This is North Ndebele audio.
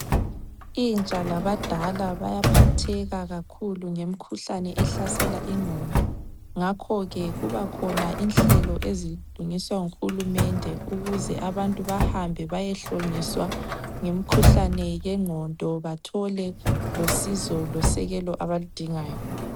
Intsha labadala bayaphatheka kakhulu ngemkhuhlane ehlasela ingqondo, ngakhoke kubakhona inhlelo ezilungiswa nguhulumende ukuze abantu bahambe bayehlonyiswa ngemkhuhlane yengqondo bathole losizo losekelo abaludingayo.